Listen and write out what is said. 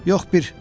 Yox bir.